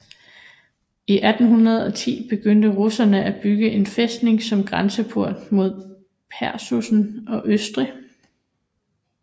I 1810 begyndte russerene at bygge en fæstning som grænsepost mod Preussen og østrig